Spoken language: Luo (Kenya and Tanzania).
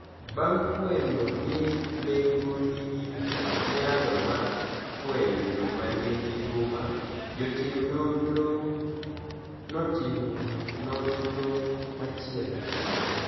Banig' fweniyo nii lego niigi niyalo mar fweniyo joma niigi huma, jotim nonirogo notimo noniro machielo.